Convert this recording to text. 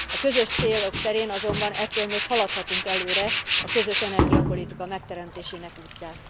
A közös célok terén azonban ettől még haladhatunk előre a közös energiapolitika megteremtésének útján.